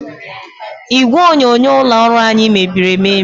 Igwe onyonyo ụlọ ọrụ anyị mebiri emebi.